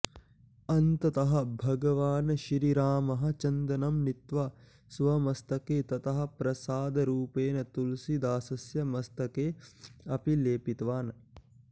अन्ततः भगवान् श्रीरामः चन्दनं नीत्वा स्वमस्तके ततः प्रसादरूपेण तुलसीदासस्य मस्तके अपि लेपितवान्